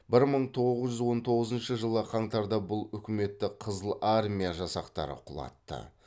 бір мың тоғыз жүз он тоғызыншы жылы қаңтарда бұл үкіметті қызыл армия жасақтары құлатты